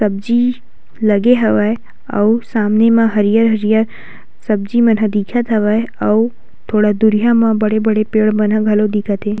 सब्जी लगे हवे और सामने मे हरियर-हरियर सब्जी मे जो दिखत हवे और थोड़ी दूरिया मा बड़ी-बड़ी पेड़ बंधल बा लोग दिखत हे।